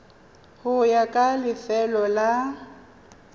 go ya ka lefelo la